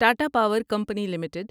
Tata power company limited